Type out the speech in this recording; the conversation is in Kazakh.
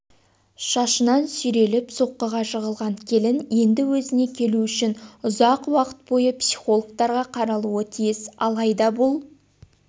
шашынан сүйреліп соққыға жығылған келін енді өзіне келу үшін ұзақ уақыт бойы психологтарға қаралуы тиіс алайда бұл